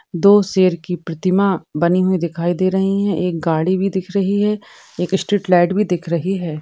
दो शेर की प्रतिमा बनी हुई दिखाई दे रही है एक गाड़ी भी दिख रही है एक स्ट्रीट लाइट भी दिख रही है।